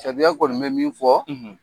Sariya kɔni bɛ min fɔ,